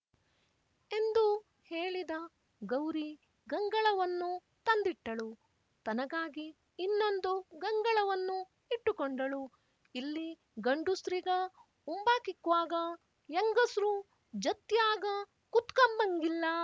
ಎಂದು ಹೇಳಿದ ಗೌರಿ ಗಂಗಳವನ್ನು ತಂದಿಟ್ಟಳು ತನಗಾಗಿ ಇನ್ನೊಂದು ಗಂಗಳವನ್ನು ಇಟ್ಟುಕೊಂಡಳು ಇಲ್ಲಿ ಗಂಡುಸ್ರಿಗ ಉಂಬಾಕಿಕ್ವಾಗ ಯೆಂಗುಸ್ರು ಜತ್ಯಾಗ ಕುತ್ಕಂಬಂಗಿಲ್ಲ